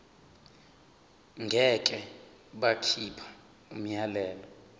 ngeke bakhipha umyalelo